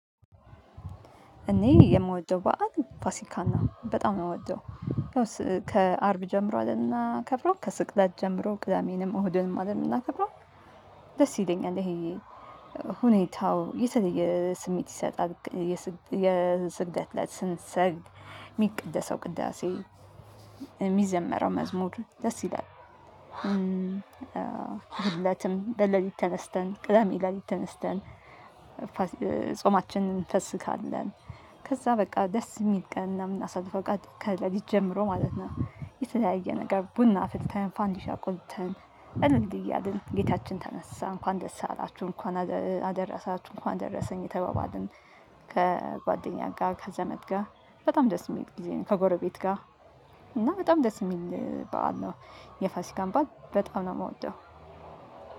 እኔ የምወደው በዓል ፋሲካና በጣም ነው የምወደው ከ አርብ ጀምሮ አደል ምናከብረው? ከስቅለት ጀምሮ ቅዳሜንም እሁድንም አደል ምናከብረው ደስ ይለኛል ይሄ ሁኔታው የተለየ ስሜት ይሰጣል የስግደት እለት ስንሰግድ የሚቅደሰው ቅዳሴ የሚዘመረው መዝሙር ደስ ይላል እሁድለትም ለሌሊት ተነስተን ቅደሜ ሌሊት ተነስተን ጾማችንን እንፈስካለን ከዛ በቃ ደስ የሚል ቀን ምናሳልፈው ከ ለሊት ጀምሮ ማለት ነው የተለያየ ነገር ቡና አፍልተን ፋንዲሻ ቆልተን እንድ እያልን ጌታችን ተነሳ እንኳን ደስ አላችሁ እንኳን አደረሳችሁ እንኳን ደረሰኝ እየተባባልን ከጓደኛ ጋር ከዘመድ ጋር በጣም ደስ የሚል ጊዜ ነው ከጎረቤት ጋር እና በጣም ደስ የሚል በዓል ነው የፋሲካን ባል በጣም ነው የምወደው